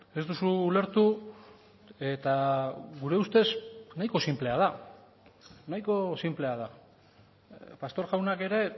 ez duzu ulertu eta gure ustez nahiko sinplea da nahiko sinplea da pastor jaunak ere